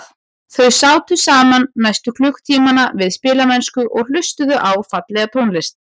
Þau sátu saman næstu klukkutímana við spilamennsku og hlustuðu á fallega tónlist.